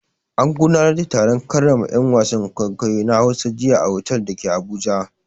An gudanar da taron karrama 'yan wasan kwaikwayo na Hausa jiya a otal da ke Abuja.